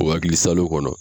O akili salo kɔnɔ